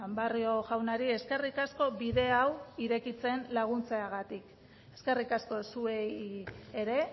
barrio jaunari eskerrik asko bide hau irekitzen laguntzeagatik eskerrik asko zuei ere